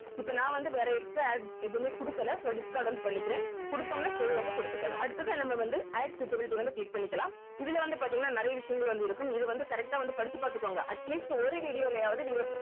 இப்ப நான் வந்து வேற extra add எதுவுமே குடுக்கல so discard வந்து பண்ணிக்குறேன் குடுத்தோம்னா save வந்து குடுத்துக்கணும் அடுத்ததா நம்ம வந்து add suitability வந்து click பண்ணிக்கலாம் இதுல வந்து பாத்தீங்கன்னா நிறைய விஷயங்கள் வந்து இருக்கும் இது வந்து correct ஆ வந்து படிச்சி பாத்துக்கோங்க atleast ஒரு video லயாவது நீங்க